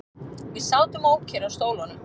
Við sátum ókyrr á stólunum.